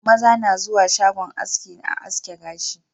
Maza na zuwa shagon haski a haske gashi